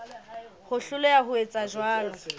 ho hloleha ho etsa jwalo